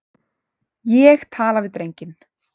Ég tala við drenginn.